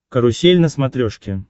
карусель на смотрешке